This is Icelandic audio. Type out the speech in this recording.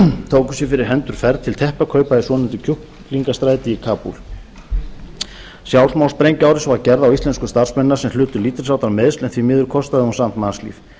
tóku sér fyrir hendur ferð til teppakaupa í svonefndu kjúklingastræti í kabúl sjálfsmorðssprengjuárás var gerð á íslensku starfsmennina sem hlutu lítils háttar meiðsl en því miður kostaði hún samt mannslíf